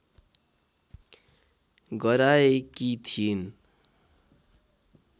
गराएकी थिइन्